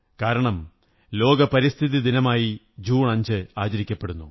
കാരണം ലോക പരിസ്ഥിതി ദിനമായി ജൂൺ 5 ആചരിക്കപ്പെടുന്നു